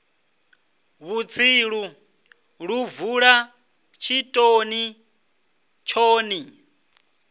vhutsilu lu bvula tshitoni thoni